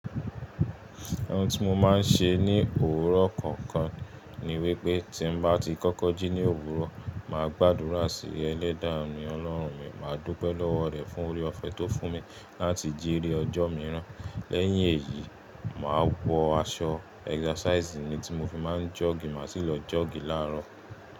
Ohun tí mo máa ń ṣe ní òwúrọ̀ kọ̀ọ̀kan ni wípé tí mo bá ti kọ́kọ́ jí ní òwúrọ̀, mà á gbàdúrà sí Ẹlẹ́dàá mi Ọlọ́run mi, mà á dúpẹ́ lọ́wọ́ rẹ̀ fún oore ọ̀fẹ́ tó fún mi láti jí ri ọjọ́ mi rán. Lẹ́yìn èyí, mà á wọ aṣọ ẹ́sasàisì mi tí mo fi máa ń jọ́ọ̀gì, mà á sì lọ jọ́ọ̀gì láàárọ̀.